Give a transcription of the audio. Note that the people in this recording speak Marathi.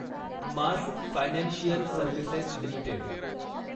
mass financial services limited